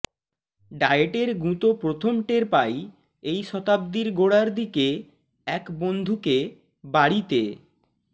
ডায়েটের গুঁতো প্রথম টের পাই এই শতাব্দীর গোড়ার দিকে এক বন্ধুকে বাড়িতে